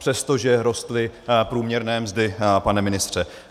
Přestože rostly průměrné mzdy, pane ministře.